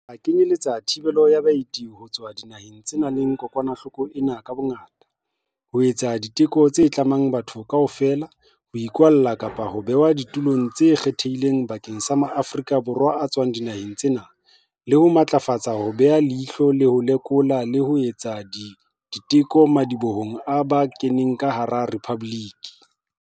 A kenyeletsa thibelo ya baeti ho tswa dinaheng tse nang le kokwanahloko ena ka bongata, ho etsa diteko tse tlamang bathong kaofela, ho ikwalla kapa ho behwa ditulong tse kgethehileng bakeng sa maAforika Borwa a tswang dinaheng tsena, le ho matlafatsa ho beha leihlo, ho lekola le ho etsa diteko madibohong a ba kenang ka hara Rephabliki.